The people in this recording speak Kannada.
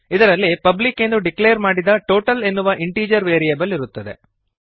ಇದರಲ್ಲಿ ಪಬ್ಲಿಕ್ ಎಂದು ಡಿಕ್ಲೇರ್ ಮಾಡಿದ ಟೋಟಲ್ ಎನ್ನುವ ಇಂಟೀಜರ್ ವೇರಿಯಬಲ್ ಇರುತ್ತದೆ